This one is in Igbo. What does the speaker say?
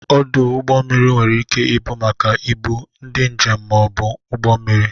Ọdụ ụgbọ mmiri nwere ike ị bụ maka ibu, ndị njem ma ọ bụ ụgbọ mmiri.